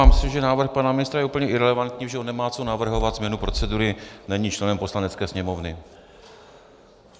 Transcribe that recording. Já myslím, že návrh pana ministra je úplně irelevantní, protože on nemá co navrhovat změnu procedury, není členem Poslanecké sněmovny.